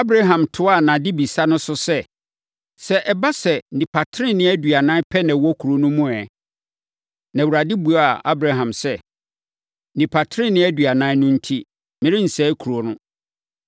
Abraham toaa nʼadebisa no so sɛ, “Sɛ ɛba sɛ, nnipa tenenee aduanan pɛ na wɔwɔ kuro no mu ɛ?” Na Awurade buaa Abraham sɛ, “Nnipa tenenee aduanan no enti, merensɛe kuro no.”